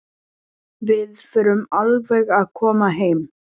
Við förum alveg að koma heim.